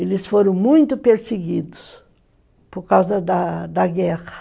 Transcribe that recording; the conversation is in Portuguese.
Eles foram muito perseguidos por da causa da da guerra.